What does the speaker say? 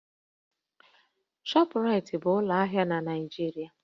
Shọpraịtị bụ ụlọ ahịa na Naịjirịa